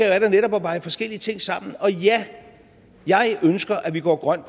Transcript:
er da netop at veje forskellige ting sammen og ja jeg ønsker at vi går grønt